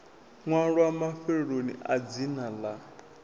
ṅwalwa mafheloni a dzina ḽa